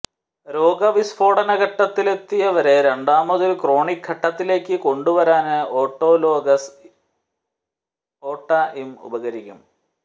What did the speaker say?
രോഗ വിസ്ഫോടന ഘട്ടത്തിലെത്തിയവരെ രണ്ടാമതൊരു ക്രോണിക് ഘട്ടത്തിലേക്ക് കൊണ്ടുവരാന് ഓട്ടോലോഗസ് ഒടഇഠ ഉപകരിക്കും